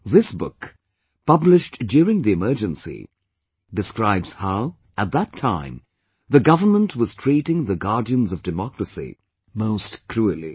This book, published during the Emergency, describes how, at that time, the government was treating the guardians of democracy most cruelly